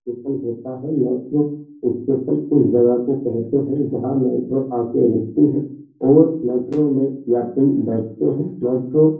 सन होता है इस जगह को कहते हैं। जहाँ मेट्रो आकर रूकती है और मेट्रो में यात्री बैठते हैं। मेट्रो --